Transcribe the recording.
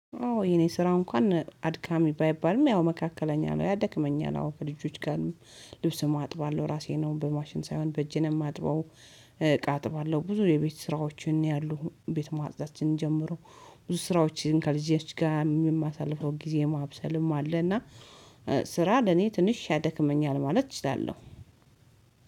አዎ የኔ ስራው እንኳን አድካሚ ባይባልም፤ ያው መካከለኛ ነው። ያደክመኛል አዎ ከልጆች ጋር ልብስም አጥባለሁ ራሴን ነው በማሽን ሳይሆን በእጄ ነው የማጥበው። እቃ አጥባለሁ፤ ብዙ የቤት ስራዎችን ያሉ ቤት ማጽዳትን ጀምሮ ብዙ ስራዎችን ከልጆቼ ጋር የማሳልፈው ጊዜ ማብሰልም አለና። ስራ ለኔ ትንሽ ያደክመኛል ማለት እችላለሁ።